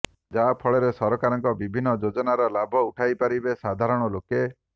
ଯାହାଫଳରେ ସରକାରଙ୍କ ବିଭିନ୍ନ ଯୋଜନାର ଲାଭ ଉଠାଇପାରିବେ ସାଧାରଣ ଲୋକେ